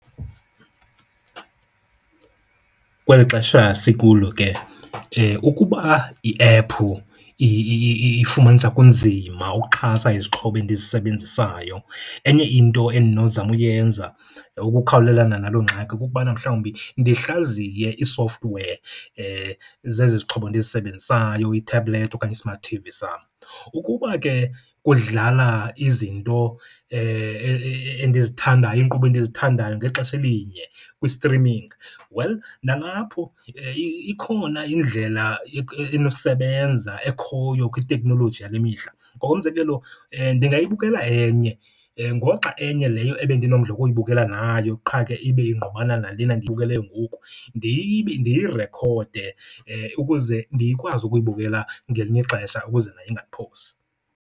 Kweli xesha sikulo ke ukuba iephu ifumanisa kunzima ukuxhasa izixhobo endizisebenzisayo, enye into endinozama uyenza ukukhawulelana naloo ngxaki kukubana mhlawumbi ndihlaziye ii-software zezi zixhobo ndizisebenzisayo, ithabhulethi okanye i-smart T_V sam. Ukuba ke kudlala izinto endizithandayo, iinkqubo endizithandayo ngexesha elinye kwi-streaming, well nalapho ikhona indlela enosebenza ekhoyo kwiteknoloji yale mihla. Ngokomzekelo, ndingayibukela enye ngoxa enye leyo ebendinomdla wokuyibukela nayo qha ke ibe ingqubana nalena ndiyibukeleyo ngoku ndiyirekhode, ukuze ndikwazi ukuyibukela ngelinye ixesha ukuze nayo ingandiphosi.